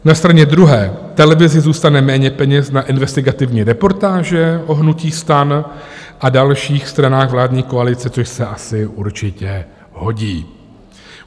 Na straně druhé televizi zůstane méně peněz na investigativní reportáže o hnutí STAN a dalších stranách vládní koalice, což se asi určitě hodí.